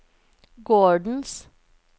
gårdens